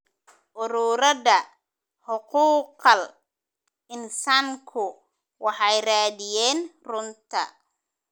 Ururada xuquuqal insaanku waxay raadiyeen runta.